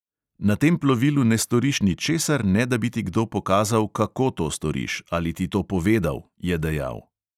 "Na tem plovilu ne storiš ničesar, ne da bi ti kdo pokazal, kako to storiš, ali ti to povedal," je dejal.